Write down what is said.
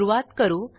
सुरूवात करू